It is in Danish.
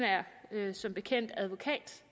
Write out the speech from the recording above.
der som bekendt er advokat